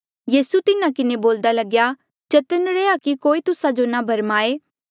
यीसू तिन्हा किन्हें बोल्दा लग्या चतन्न रैहया कि कोई तुस्सा जो ना भरमाए